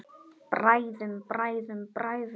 Bræðum, bræðum, bræðum.